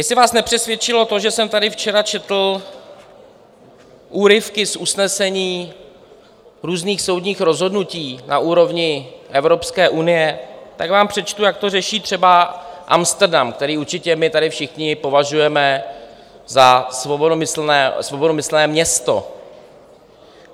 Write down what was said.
Jestli vás nepřesvědčilo to, že jsem tady včera četl úryvky z usnesení různých soudních rozhodnutí na úrovni Evropské unie, tak vám přečtu, jak to řeší třeba Amsterdam, který určitě my tady všichni považujeme za svobodomyslné město.